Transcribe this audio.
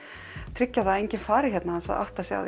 tryggja að enginn fari héðan án þess að átta sig á